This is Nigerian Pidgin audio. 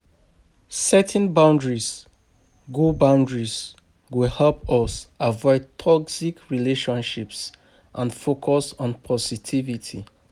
Setting boundaries go boundaries go help us avoid toxic relationships and focus on positivity.